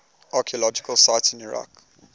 archaeological sites in iraq